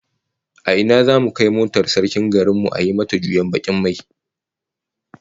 A ina zamu kai motar sarkin garin mu a yi mata juyen bakin mai?